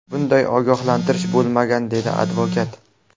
Bunday ogohlantirish bo‘lmagan”, dedi advokat.